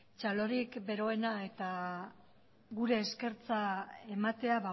txalorik beroena eta gure eskertza ematea